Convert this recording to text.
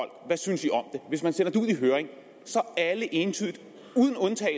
hvis man sender det ud i høring alle entydigt